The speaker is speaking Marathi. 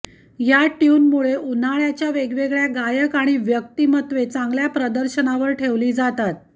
या ट्यूनमुळे उन्हाळ्याच्या वेगवेगळ्या गायक आणि व्यक्तिमत्त्वे चांगल्या प्रदर्शनावर ठेवली जातात